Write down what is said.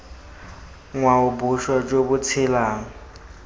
ngwao boswa jo bo tshelang